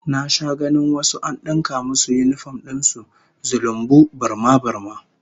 Na sha ganin wasu an dinka musu yinifom din su zulumbu, burma-burma